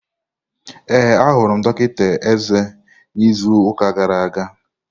Ee, ahụrụ m dọkịta eze n'izu ụka gara aga.